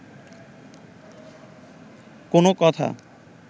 কোনো কথা